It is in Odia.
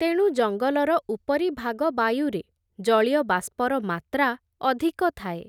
ତେଣୁ ଜଙ୍ଗଲର ଉପରିଭାଗ ବାୟୁରେ, ଜଳୀୟବାଷ୍ପର ମାତ୍ରା ଅଧିକ ଥାଏ ।